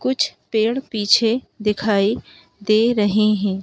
कुछ पेड़ पीछे दिखाई दे रहे हैं।